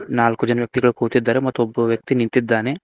ನಾಲ್ಕು ಜನ ವ್ಯಕ್ತಿಗಳ್ ಕೂತಿದ್ದಾರೆ ಮತ್ತು ಒಬ್ಬ ವ್ಯಕ್ತಿ ನಿಂತಿದ್ದಾನೆ.